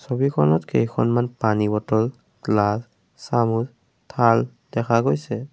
ছবিখনত কেইখনমান পানী বটল গ্লাচ চামুচ থাল দেখা গৈছে।